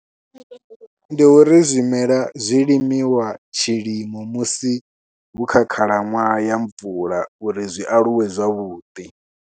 Ndi uri zwimela zwi limiwa tshilimo musi hu kha khalaṅwaha ya mvula uri zwi aluwe zwavhuḓi.